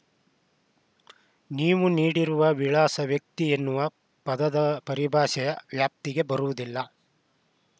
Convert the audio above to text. ನೀವು ನೀಡಿರುವ ವಿಳಾಸ ವ್ಯಕ್ತಿ ಎನ್ನುವ ಪದದ ಪರಿಭಾಷೆಯ ವ್ಯಾಪ್ತಿಗೆ ಬರುವುದಿಲ್ಲ